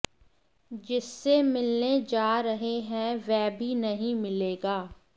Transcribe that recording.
जिससे मिलने जा रहे हैं वह भी नहीं मिलेगा